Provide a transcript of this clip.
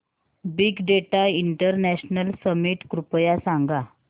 big data international summit कृपया सांगा